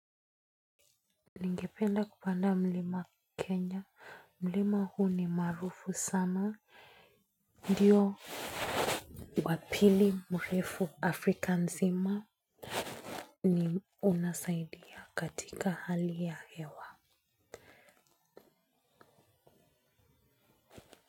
Ningependa kupanda mlima Kenya. Mlima huu ni marufu sana. Ndiyo wapili mrefu Afrika Nzima ni unasaidia katika hali ya hewa.